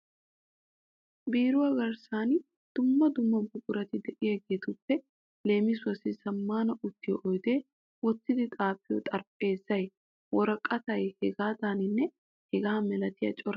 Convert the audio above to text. Biiruwa garssan dumma dumma buqurati de'iyageetuppe leemisuwassi zammaana uttiyo oydee, wottidi xaafiyo xarphpheezay, woraqatay hegaanne hegaa malatiya corabati kumi uttidosona.